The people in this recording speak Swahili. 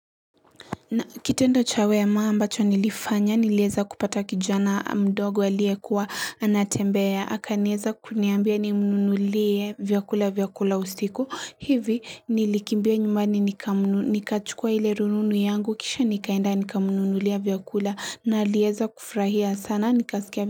Na kitendo chawe ya maa ambacho nilifanya nileza kupata kijana mdogo ya liye kuwa anatembea akaneza kuniambia nimununulie vyakula vyakula ustiku hivi nilikimbia nyumbani nikamunu nikachukua hile rununu yangu kisha nikaenda nikamununulia vyakula na liyeza kufrahia sana nikaskia.